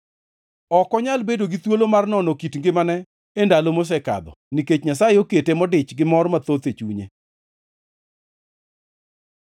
Ok onyal bedo gi thuolo mar nono kit ngimane e ndalo mosekadho, nikech Nyasaye okete modich gi mor mathoth e chunye.